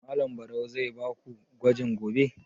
Malam Barau zai ba ku gwaji gobe?